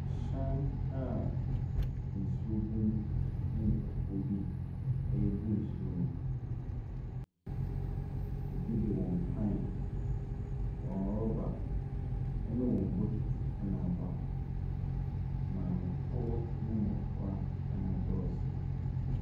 Ɛhyɛn a nsuo gu mu, na nipakuo bi rebu nsuo no, ɛbi de wɔn pan, wɔn rɔba, ne wɔn bokiti na aba hɔ. Maamefoɔ ne mmɔfra na wɔdɔɔso.